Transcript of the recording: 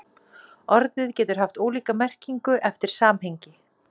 Orðið getur haft ólíka merkingu eftir samhengi.